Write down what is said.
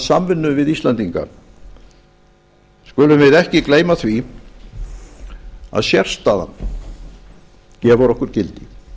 samvinnu við íslendinga skulum við ekki gleyma því að sérstaðan gefur okkur gildi